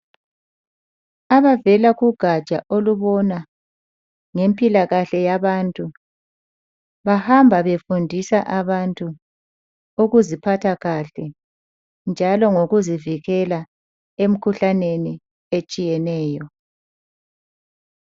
Abavela kugaja olubona ngempilakahle yabantu. Bahamba befundisa abantu ukuziphatha kahle, njalo lokuzivikela emkhuhlaneni etshiyeneyo.